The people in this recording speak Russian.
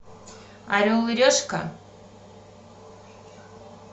орел и решка